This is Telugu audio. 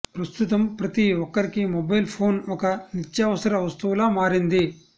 ప్రస్తుతం ప్రతి ఒక్కరికి మొబైల్ ఫోన్ ఒక నిత్యావసర వస్తువులా మారింది